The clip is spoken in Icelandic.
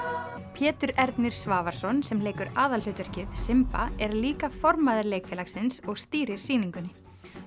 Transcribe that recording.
Pétur Ernir Svavarsson sem leikur aðalhlutverkið er líka formaður leikfélagsins og stýrir sýningunni